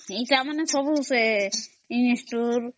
ଅମ୍